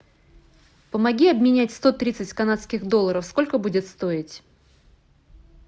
помоги обменять сто тридцать канадских долларов сколько будет стоить